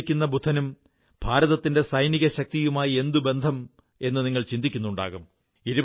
പുഞ്ചിരിക്കുന്ന ബുദ്ധനും ഭാരതത്തിന്റെ സൈനികശക്തിയുമായി എന്തുബന്ധമെന്ന് നിങ്ങൾ ചിന്തിക്കുന്നുണ്ടാകും